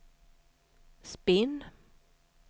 spinn